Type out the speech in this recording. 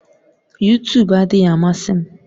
Yutub adịghị amasị m